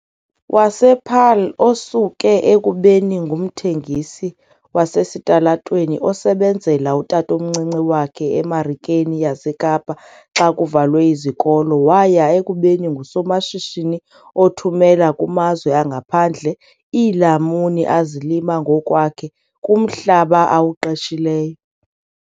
wasePaarl, osuke ekubeni ngumthengisi wasesitalatweni osebenzela utatomncinci wakhe eMarikeni yaseKapa xa kuvalwe izikolo waya ekubeni ngusomashishini othumela kumazwe angaphandle iilamuni azilima ngokwakhe kumhlaba awuqeshileyo.